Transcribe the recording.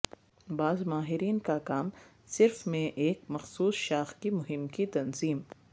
بعض ماہرین کا کام صرف میں ایک مخصوص شاخ کی مہم کی تنظیم